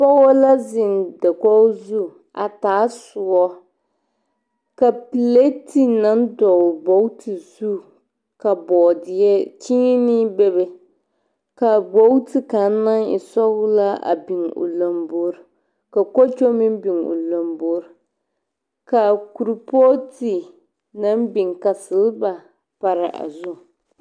Pɔgɔ la zeŋ dakogo zu a taa soɔ. Ka pelate naŋ dɔgle gbogti zu ka boodeɛ kyeene bebe. Ka gbogti kaŋ naŋ e sɔglaa a biŋ o lamboor, ka kuokyo meŋ biŋ o lamboor, Ka kolpɔɔte naŋ biŋ ka selba paraa a zu.